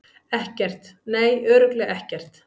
Ekkert, nei, örugglega ekkert.